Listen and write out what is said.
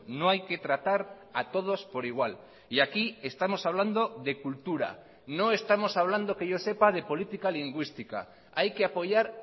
no hay que tratar a todos por igual y aquí estamos hablando de cultura no estamos hablando que yo sepa de política lingüística hay que apoyar